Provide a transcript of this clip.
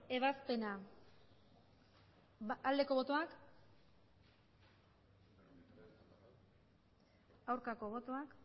ebazpena aldeko botoak aurkako botoak